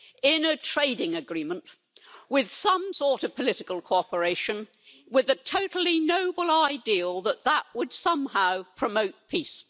in a trading agreement with some sort of political cooperation, with a totally noble ideal that that would somehow promote peace.